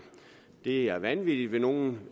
det er vanvittigt vil nogle